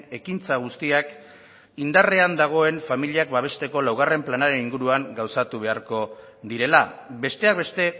ekintza guztiak indarrean dagoen familia babesteko laugarren planaren inguruan gauzatu behar direla besteak beste